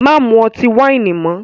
Má mú ọtí wáìnì mọ́!